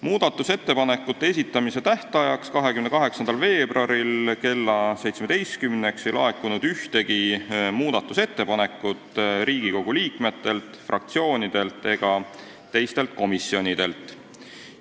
Muudatusettepanekute esitamise tähtajaks, 28. veebruariks kella 17-ks ei laekunud ühtegi muudatusettepanekut Riigikogu liikmetelt, fraktsioonidelt ega teistelt komisjonidelt.